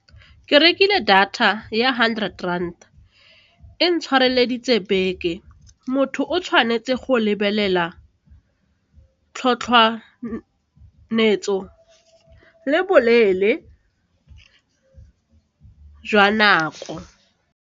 Ke rekile data ya hundred rand, e ntshwareleditse beke, motho o tshwanetse go lebelela le boleele jwa nako.